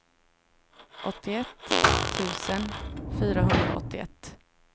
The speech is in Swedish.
åttioett tusen fyrahundraåttioett